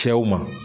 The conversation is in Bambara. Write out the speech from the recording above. Cɛw ma